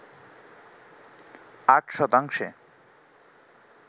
৮ শতাংশে